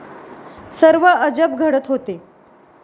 सर्व अजब घडत होते.